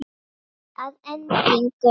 Að endingu